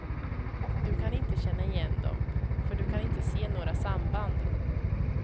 Du kan inte känna igen dem, för du kan inte se några samband.